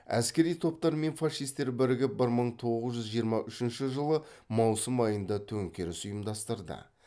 әскери топтар мен фашистер бірігіп бір мың тоғыз жүз жиырма үшінші жылы маусым айында төңкеріс ұйымдастырды